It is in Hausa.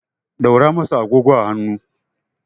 ɗaura masa agogo a hannu!